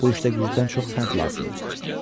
Bu işdə gücdən çox fənd lazımdır.